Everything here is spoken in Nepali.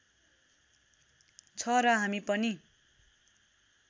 छ र हामी पनि